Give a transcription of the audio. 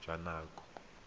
jwa nako e e ka